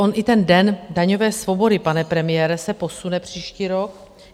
On i ten den daňové svobody, pane premiére, se posune příští rok.